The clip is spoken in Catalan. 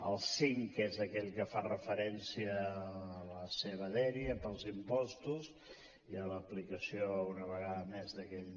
el cinc que és aquell que fa referència a la seva dèria per als impostos i a l’aplicació una vegada més d’aquell